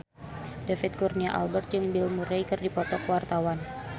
David Kurnia Albert jeung Bill Murray keur dipoto ku wartawan